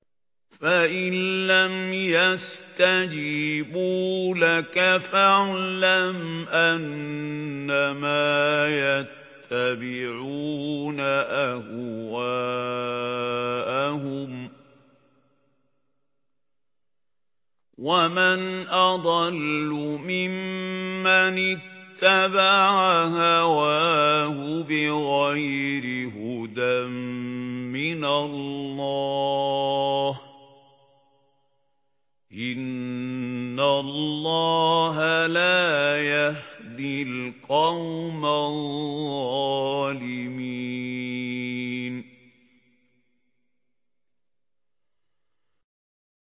فَإِن لَّمْ يَسْتَجِيبُوا لَكَ فَاعْلَمْ أَنَّمَا يَتَّبِعُونَ أَهْوَاءَهُمْ ۚ وَمَنْ أَضَلُّ مِمَّنِ اتَّبَعَ هَوَاهُ بِغَيْرِ هُدًى مِّنَ اللَّهِ ۚ إِنَّ اللَّهَ لَا يَهْدِي الْقَوْمَ الظَّالِمِينَ